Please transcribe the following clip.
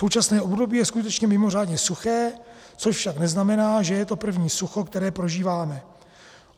Současné období je skutečně mimořádně suché, což však neznamená, že je to první sucho, které prožíváme.